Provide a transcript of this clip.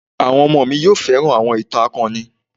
Àwọn ọmọ mi yóò fẹ́ràn àwọn ìtàn akọni.